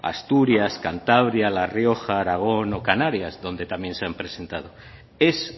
asturias cantabria la rioja aragón o canarias donde también se han presentado es